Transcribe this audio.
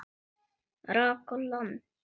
Hvíli þau öll í friði.